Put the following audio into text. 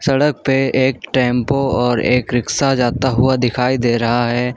सड़क पर एक टेंपो और एक रिक्शा जाता हुआ दिखाई दे रहा है।